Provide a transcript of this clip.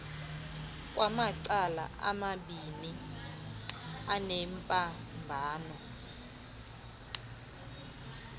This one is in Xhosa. kwamacala amabiini anembambano